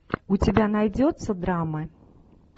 у тебя найдется драма